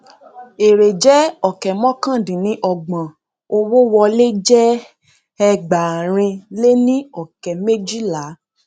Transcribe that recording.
èrè jẹ ọkẹ mọkàndínníọgbọn owó wọlé jẹ ẹgbàárin lé ní ọkẹ méjìlá